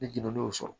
Ne jene n y'o sɔrɔ